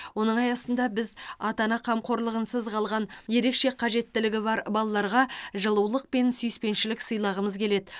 оның аясында біз ата ана қамқорлығынсыз қалған ерекше қажеттілігі бар балаларға жылулық пен сүйіспеншілік сыйлағымыз келеді